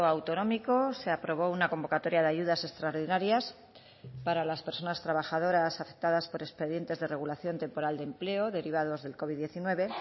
autonómico se aprobó una convocatoria de ayudas extraordinarias para las personas trabajadoras afectadas por expedientes de regulación temporal de empleo derivados del covid diecinueve